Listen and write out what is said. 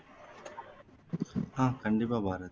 ஆஹ் கண்டிப்பா பாரதி